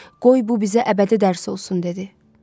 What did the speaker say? Qoy bu bizə əbədi dərs olsun dedi.